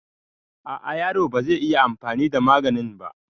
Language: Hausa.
A a yaro bazai iya anfani da maganin ba